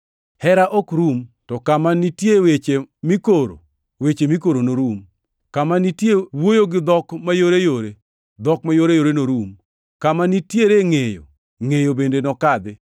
Hera ok rum. To kama nitiere weche mikoro, weche mikoro norum; kama nitiere wuoyo gi dhok mayoreyore, dhok mayoreyore norum; kama nitiere ngʼeyo; ngʼeyo bende nokadhi.